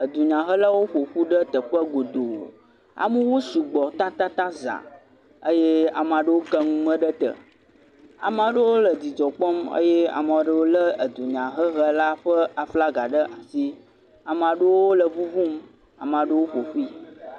Edunyahelawo ƒo ƒu ɖe teƒe godoo. Amewo sugbɔ tatataŋ zãa eye amaa ɖewo ke nume ɖe te. Amaa ɖewo le dzidzɔ kpɔm. Eye ame ɖewo lé dunyahehela ƒe aflaga ɖe asi. Amaa ɖewo le ŋuŋum, amaa ɖewo ƒo ƒui.